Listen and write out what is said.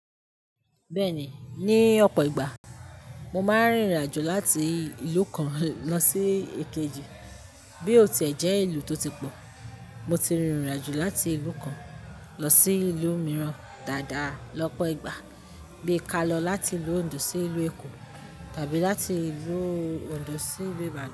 Bẹ́ẹ̀ni, ní ọ̀pọ̀ ìgbà mo máa ń rìnrìnàjò láti ìlú kan lọ sí èkejì. Bí óò tẹ́ jẹ́ ìlú tó ti pọ̀, mo ti rìnrìnàjò láti ìlú kan lọ sí ìlú mìíràn dáadáa lọ́pọ̀ ìgbà, bí i kí a lọ láti ìlú Ondo sí ìlú Èkó tàbí láti ìlú Ondo sí ìlú Ibadan.